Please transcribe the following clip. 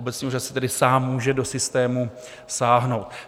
Obecní úřad si tedy sám může do systému sáhnout.